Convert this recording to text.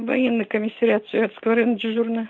военный комиссариат советского района дежурная